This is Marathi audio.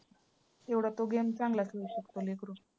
तेवढा तो game चांगला खेळू शकतो लेकरू.